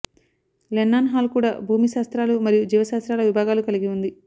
Lennon hall కూడా భూమి శాస్త్రాలు మరియు జీవశాస్త్రాల విభాగాలు కలిగి ఉంది